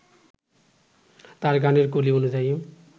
তাঁর গানের কলি অনুযায়ী